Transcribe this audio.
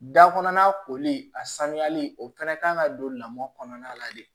Da kɔnɔna koli a sanuyali o fana kan ka don lamɔn kɔnɔna la de